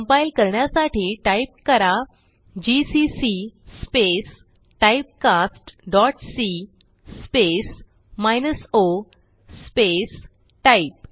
compile करण्यासाठी type करा GCC typecastसी o टाइप